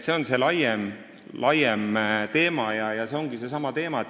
See on laiem teema.